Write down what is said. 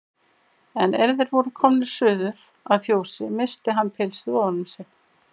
En er þeir voru komnir suður að fjósi missti hann pilsið ofan um sig.